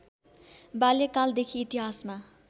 बाल्यकालदेखि इतिहासमा